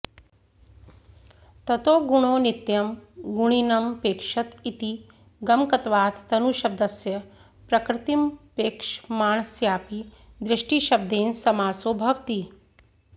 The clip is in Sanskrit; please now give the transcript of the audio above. ततो गुणो नित्यं गुणिनमपेक्षत इति गमकत्वात् तनुशब्दस्य प्रकृतिमपेक्षमाणस्यापि दृष्टिशब्देन समासो भवति